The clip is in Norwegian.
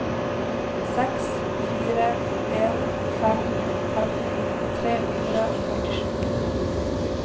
seks fire en fem femten tre hundre og førtisju